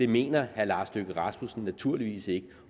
mener herre lars løkke rasmussen naturligvis ikke